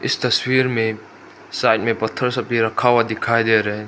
इस तस्वीर में साइड में पत्थर सब भी रखा हुआ दिखाई दे रहे --